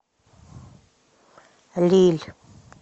лилль